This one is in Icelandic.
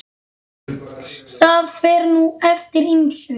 Það fer nú eftir ýmsu.